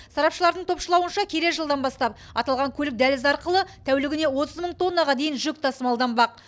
сарапшылардың топшылауынша келер жылдан бастап аталған көлік дәлізі арқылы тәулігіне отыз мың тоннаға дейін жүк тасмалданбақ